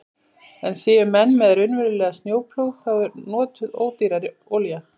En séu menn með raunverulegan snjóplóg þá er notuð ódýrari olía.